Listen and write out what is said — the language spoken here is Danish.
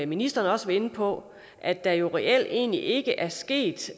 ministeren også var inde på at der jo reelt egentlig ikke er sket